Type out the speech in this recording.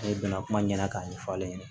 Ne bɛna kuma ɲɛna k'a ɲɛfɔ ne ɲɛna